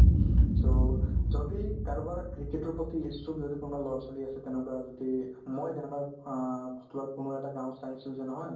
so, যদি কাৰোবাৰ cricket ৰ প্ৰতি ইচ্ছুক যদি কোনোবা ল'ৰা-ছোৱালী আছে তেনেকুৱা যদি মই অ hostel ত কোনো এটা গাঁৱৰ চাইছো যে নহয়